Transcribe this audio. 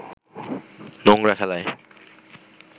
নোংরা খেলায়